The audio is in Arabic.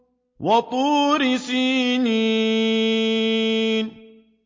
وَطُورِ سِينِينَ